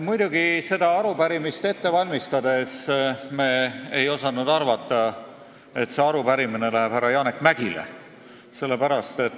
Muidugi me ei osanud arupärimist ette valmistades arvata, et see arupärimine läheb härra Janek Mäggile.